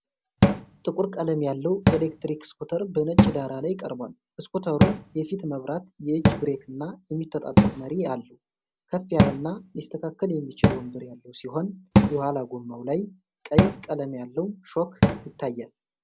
ጥቁር ቀለም ያለው ኤሌክትሪክ ስኩተር በነጭ ዳራ ላይ ቀርቧል። ስኩተሩ የፊት መብራት፣ የእጅ ብሬክና የሚታጠፍ መሪ አለው። ከፍ ያለና ሊስተካከል የሚችል ወንበር ያለው ሲሆን፣ የኋላ ጎማው ላይ ቀይ ቀለም ያለው ሾክ ይታያል።